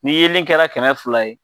Ni yelen kɛra kɛmɛ fila ye